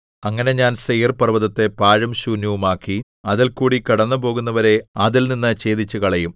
അങ്ങനെ ഞാൻ സെയീർപർവ്വതത്തെ പാഴും ശൂന്യവുമാക്കി അതിൽക്കൂടി കടന്നുപോകുന്നവരെ അതിൽ നിന്നു ഛേദിച്ചുകളയും